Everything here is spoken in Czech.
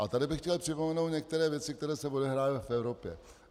A tady bych chtěl připomenout některé věci, které se odehrály v Evropě.